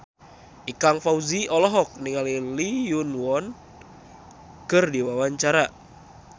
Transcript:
Ikang Fawzi olohok ningali Lee Yo Won keur diwawancara